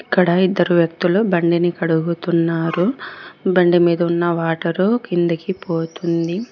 ఇక్కడ ఇద్దరు వ్యక్తులు బండిని కడుగుతున్నారు బండి మీద ఉన్న వాటర్ కిందికి పోతుంది.